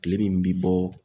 Kile min bi bɔ